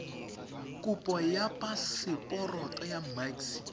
kopo ya paseporoto ya maxi